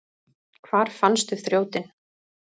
Hvar fannstu þrjótinn?